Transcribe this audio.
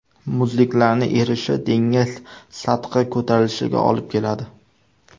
Muzliklarning erishi dengiz sathi ko‘tarilishiga olib keladi.